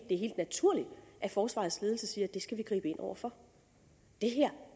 naturligt at forsvarets ledelse siger at det skal vi gribe ind over for